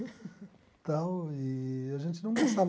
Então, eee a gente não gastava.